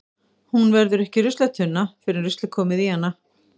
Hún verður ekki ruslatunna fyrr en rusl er komið í hana.